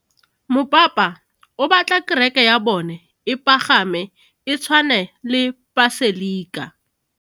Mopapa o batla kereke ya bone e pagame, e tshwane le paselika.